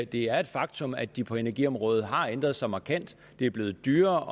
det er et faktum at de på energiområdet har ændret sig markant det er blevet dyrere